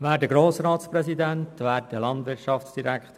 Wir sind für Eintreten.